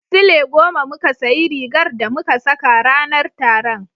Sule goma muka sayi rigar da muka saka ranar taron.